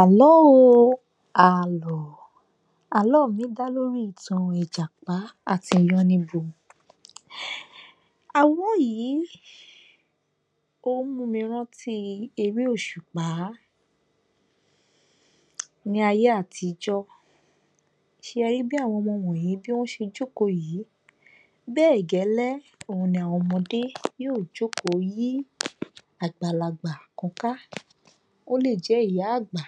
Àló o Àlọ́ o Àlọ́ mi dá lórí ìtàn Ìjàpá àti Yánníbo. Àlọ́ yìí ó mú mi rántí i eré òṣùpá. Ní ayé àtijó ṣẹri bí àwọn ọmọ wọnyìí bí wọ́n ṣe jókòó yìí, bẹ́ẹ̀ gẹ́lẹ́ òhun ni àwọn ọmọdé yóò jókòó yí àgbàlagbà kan ká. Ó lè jẹ́ ìyá àgbà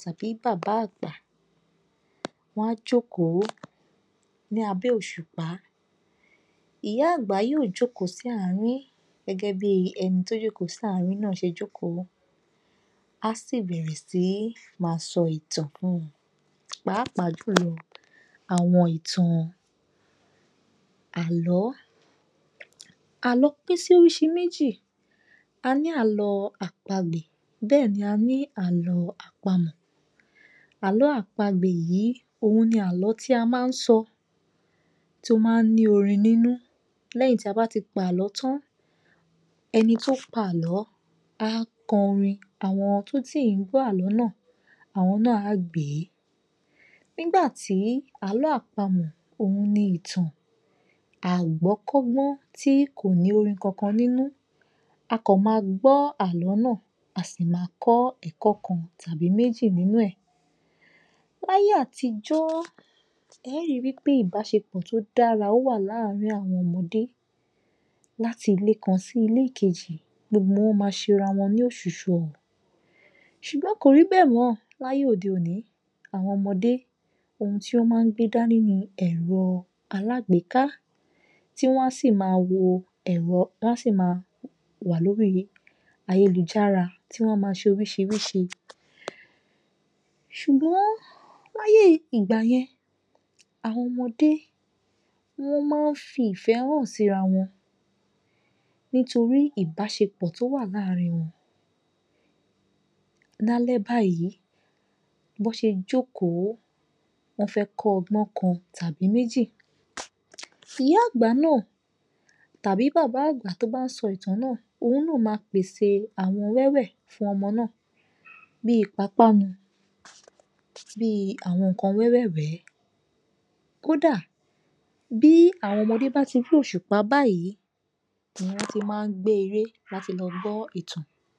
tàbí bàbá àgbà. Wọ́n á jókòó ní abẹ́ òṣùpá. Ìyá àgbà yóò jókòó sí àárín gẹ́gẹ́bí ẹni tí ó jókòó sí àárín náà ṣe jókòó, á sì bẹ̀rẹ̀ sí ní máa sọ ìtàn fún wọn. Pàápàá jù lọ àwọn ìtàn Àló. Àló pín sí oríṣi méjì, a ní àlọ́ àpagbè, bẹ́ẹ̀ la ní àlọ́ àpamọ̀. Àló àpagbè yìí, òhun ni àlọ́ tí a máa ń sọ tó máa ń ní orin nínú lẹ́yìn tí a bá ti pa àlọ́ tán. Ẹni tó pa àlọ́, á kọrin àwọn tó sì ń gbọ́ àlọ́ náà, àwọn náà á gbèé. Ńgbàtí àlọ́ àpamọ̀, òhun ni ìtàn àgbọ́kọ́gbọ́n tí kò ní orin kankan nínú. A kàn ma gbọ́ àlọ́ náà, a sì máa kọ ẹ̀kọ́ kan tàbí méjì nínú ẹ. Láyé àtijọ́ ẹ́ ri wí pé ìbáṣepọ̀ tó da, ó wà láàárín àwọn ọmọdé láti ilé kan sí ilé kejì. Gbogbo wọn máa ṣe ra wọn ní òṣùṣù ọwọ̀ ṣùgbọ́n kò rí bẹ́ẹ̀ mọ láyé òde-òní. Àwọn ọmọdé, ohun tí wọ́n máa n gbé dání ní ẹ̀rọ alágbèéká tí wọ́n á sì máa wo ẹ̀rọ, wọ́n á sì ma wà lórí ayélujára tí wọ́n ma ṣe oríṣiríṣi. Ṣùgbọ́n láyé ìgbà yẹn, àwọn ọmọdé wọ́n máa ń fi ìfẹ́ hàn síra wọn nítorí ìbáṣepọ̀ tó wà láàárín wọn. Lálẹ́ báyìí, bọ́ ṣe jókòó, wọ́n fẹ́ kọ́ ọgbọ́n kan tàbí méjì. Ìyá-àgbà náà tàbí bàbá-àgbà tó bá sọ ìtàn náà, òun náà ma pèsè àwọn wẹ́wẹ̀ fún ọmọ náà bíi ìpápánu, bíi àwọn nǹkan wẹ́wẹ̀ẹ̀wẹ́. Kódà, bí àwọn ọmọdé bá ti rí òṣùpá báyìí, gbé eré láti lọ gbọ́ ìtàn.